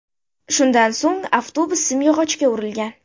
Shundan so‘ng avtobus simyog‘ochga urilgan.